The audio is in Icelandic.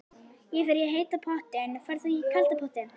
Ég fer í heita pottinn. Ferð þú í kalda pottinn?